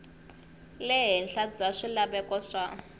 le henhla bya swilaveko swa